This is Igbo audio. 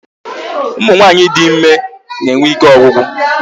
Ụmụ nwaanyị dị ịme na-enwe ike ọgwụgwụ